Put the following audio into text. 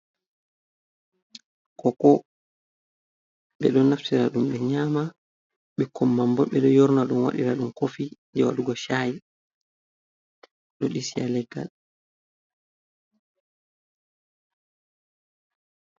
Koko ɓe ɗo naftira ɗum ɓe nyama, bikkon man bo ɓe ɗo yorna ɗum wadira ɗum kofii je waɗugo chaayi, ɗo disi ha leggal.